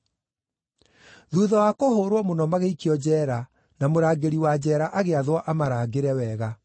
Thuutha wa kũhũũrwo mũno magĩikio njeera, na mũrangĩri wa njeera agĩathwo amarangĩre wega.